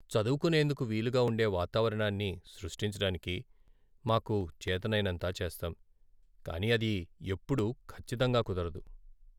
చదువుకునేందుకు వీలుగా ఉండే వాతావరణాన్ని సృష్టించటానికి మాకు చేతనైనంత చేస్తాం, కానీ అది ఎప్పుడూ ఖచ్చితంగా కుదరదు.